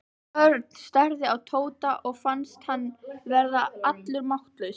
Örn starði á Tóta og fannst hann verða allur máttlaus.